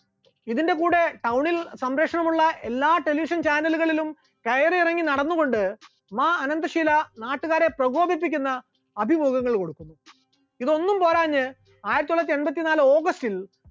ഇതിന്റെ കൂടെ town ൽ സംരക്ഷണമുള്ള എല്ലാ television channel കളിലും കയറിയിറങ്ങി നടന്നുകൊണ്ട് മാ അനന്തഷീല നാട്ടുകാരെ പ്രകോപിപ്പിക്കുന്ന അഭിമുഖങ്ങൾ കൊടുത്തു, ഇതൊന്നും പോരാഞ്ഞു ആയിരത്തിത്തൊള്ളായിരത്തി എണ്പത്തിനാല് august ൽ